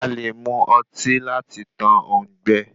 A lè mu ọtí lati tán òùngbẹ.